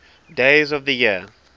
days of the year